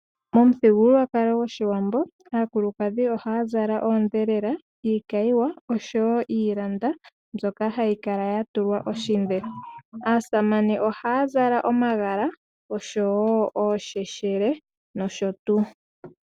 Momuthigululwakalo goshiwambo aakulukadhi ohaya zala oodhelela, iikayiwa oshowo iilanda mbyoka hayikala yatulwa oshidhe. Aasamane ohaya zala omagala oshowo oosheshele noshotu.